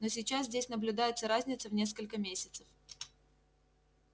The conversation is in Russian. но сейчас здесь наблюдается разница в несколько месяцев